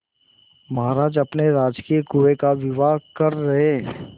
महाराज अपने राजकीय कुएं का विवाह कर रहे